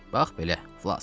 Bax belə, Flas.